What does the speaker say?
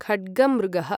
खड्गमृगः